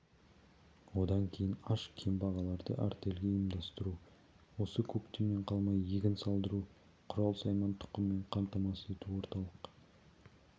одан кейін аш кембағалдарды артельге ұйымдастыру осы көктемнен қалмай егін салдыру құрал-сайман тұқыммен қамтамасыз ету орталық